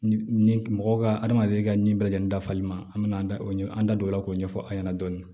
Mɔgɔw ka adamaden ka ni bɛɛ lajɛlen dafali ma an bɛ na an da o ɲɛ an da don o la k'o ɲɛfɔ an ɲɛna dɔɔni